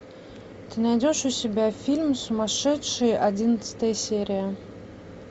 ты найдешь у себя фильм сумасшедшие одиннадцатая серия